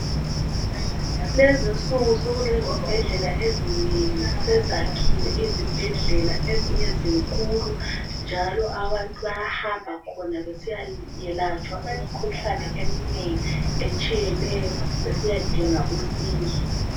Kulezi insuku sokulezibhedlela ezinengi sezakhiwe izibhedlela zaba zinkulu njalo abantu bayahamba khona besiya yelatshwa imkhuhlane etshiyeneyo besiyadinga usizo